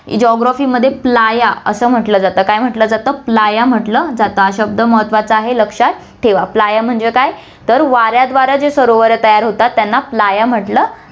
geography मध्ये playa म्हंटलं जातं, काय म्हंटलं जातं playa म्हंटलं जातं, हा शब्द महत्वाचा आहे, लक्षात ठेवा, playa म्हणजे काय तर वाऱ्याद्वारे जे सरोवरं तयार होतात, त्यांना playa म्हंटलं जातं.